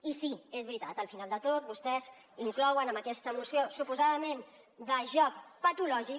i sí és veritat al final de tot vostès inclouen en aquesta moció suposadament de joc patològic